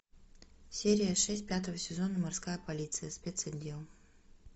серия шесть пятого сезона морская полиция спецотдел